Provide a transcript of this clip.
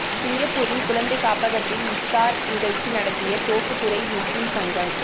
சிங்கப்பூரில் குழந்தை காப்பக்கத்தில் இஃப்தார் நிகழ்ச்சி நடத்திய தோப்புத்துறை முஸ்லிம் சங்கம்